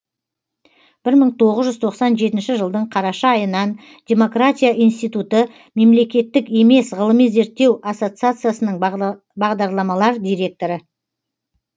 бір мың тоғыз жүз тоқсан жетінші жылдың қараша айынан демократия институты мемлекеттік емес ғылыми зерттеу ассоциациясының бағдарламалар директоры